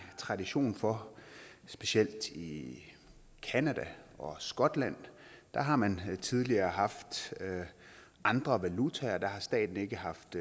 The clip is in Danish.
tradition for specielt i canada og skotland der har man tidligere haft andre valutaer der har staten ikke haft